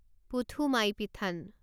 পুধুমাইপিঠান